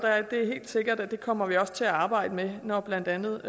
det er helt sikkert at det kommer vi også til at arbejde med når blandt andet